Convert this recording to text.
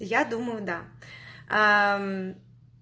я думаю да аа мм